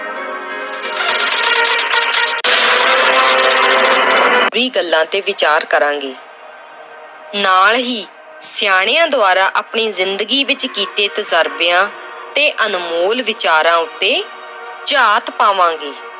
ਵੀਹ ਗੱਲਾਂ ਤੇ ਵੀਚਾਰ ਕਰਾਂਗੇ ਨਾਲ ਹੀ ਸਿਆਣਿਆਂ ਦੁਆਰਾ ਆਪਣੀ ਜ਼ਿੰਦਗੀ ਵਿੱਚ ਕੀਤੇੇ ਤਜ਼ਰਬਿਆਂ ਤੇ ਅਨਮੋਲ ਵਿਚਾਰਾਂ ਉੱਤੇ ਝਾਤ ਪਾਵਾਂਗੇ।